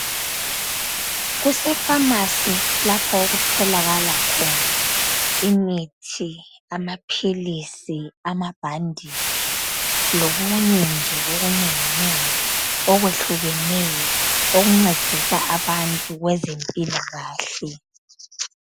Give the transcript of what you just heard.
Kuse Famasi lapho okutholakala khona imithi, amaphilisi, amabhanditshi lokunye nje okunenginengi okwehlukeneyo okuncedisa abantu kwezempilakahle.